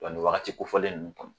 Wa nin wagati kofɔlen ninnu kɔnɔ